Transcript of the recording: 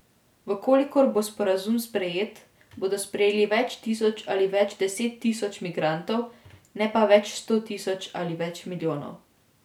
V kolikor bo sporazum sprejet bodo sprejeli več tisoč ali več deset tisoč migrantov, ne pa več sto tisoč ali več milijonov.